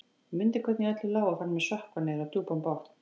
Ég mundi hvernig í öllu lá og fann mig sökkva niður á djúpan botn.